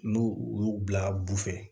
N'u u y'u bila bu fɛ